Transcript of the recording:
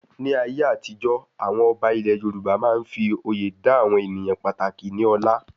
Ní ayé àtijọ́, àwọn ọba ilẹ Yorùbá máa n fí oyè dá àwọn ènìyàn pàtàkì ní ọlá